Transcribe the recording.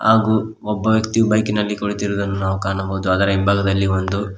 ಹಾಗು ಒಬ್ಬ ವ್ಯಕ್ತಿಯು ಬೈಕಿನಲ್ಲಿ ಕುಳಿತಿರುವುದನ್ನು ಕಾಣಬಹುದು ಅದರ ಹಿಂಭಾಗದಲ್ಲಿ ಒಂದು--